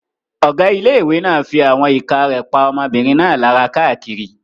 Ọ̀gá ilé-ìwé náà fí àwọn ìka rẹ̀ pa ọmọbìnrin náà lára káàkiri